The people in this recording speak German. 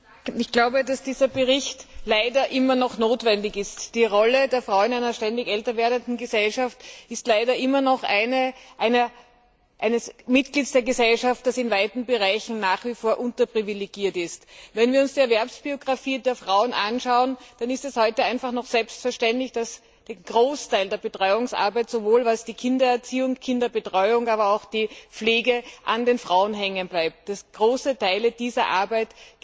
Frau Präsidentin! Dieser Bericht ist leider immer noch notwendig. Die Frau in einer ständig älter werdenden Gesellschaft ist leider immer noch ein Mitglied der Gesellschaft, das in weiten Bereichen nach wie vor unterprivilegiert ist. Wenn wir uns die Erwerbsbiografien der Frauen anschauen, dann ist es heute immer noch selbstverständlich, dass der Großteil der Betreuungsarbeit, sowohl die Kindererziehung und Kinderbetreuung, als auch die Pflege, an den Frauen hängen bleibt, dass große Teile dieser Arbeit